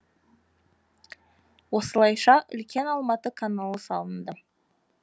осылайша үлкен алматы каналы салынды